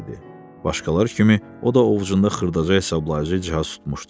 Başqaları kimi o da ovucunda xırdaca hesablayıcı cihaz tutmuşdu.